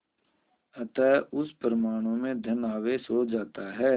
अतः उस परमाणु में धन आवेश हो जाता है